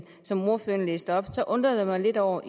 som ordføreren læste op undrer jeg mig lidt over